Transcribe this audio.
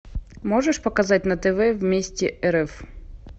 можешь показать на тв вместе рф